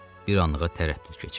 Bir anlığa tərəddüd keçirdi.